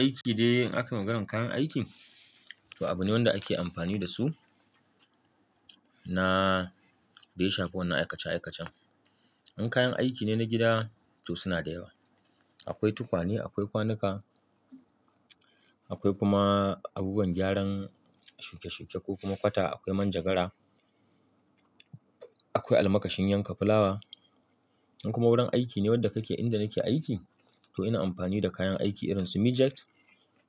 Aiki dai in aka maganan kayan aikin, to abune wanda ake amfani dasu na dai daya shafa wannan aikace-aikacen. In kayan aikine na gida to sunada yawa. Akwai tukwane, akwai kwanuka, akwai kuma abubuwan gyaran shuke-shuke ko kuma kwata, akwai manjagara, akwai almakashin yanka fulawa. In kuma wurin aikine wanda kake inda nake aiki, to ina amfani da kayan aiki irinsu mic jack